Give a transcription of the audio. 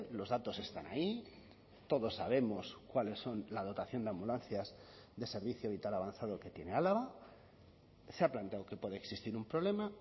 los datos están ahí todos sabemos cuáles son la dotación de ambulancias de servicio vital avanzado que tiene álava se ha planteado que puede existir un problema